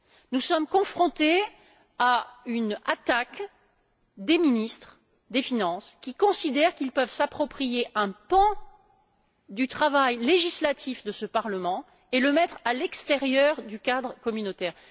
Nous sommes confrontés à une attaque des ministres des finances, qui considèrent qu'ils peuvent s'approprier un pan du travail législatif de ce Parlement et le mettre à l'extérieur du cadre communautaire.